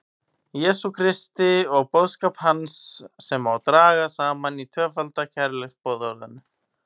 Jesú Kristi og boðskap hans sem má draga saman í tvöfalda kærleiksboðorðinu.